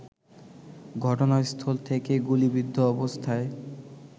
ঘটনাস্থল থেকে গুলিবিদ্ধ অবস্থায়